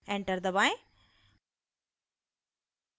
enter दबाएं